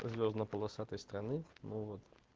звёздно полосатый страны ну вот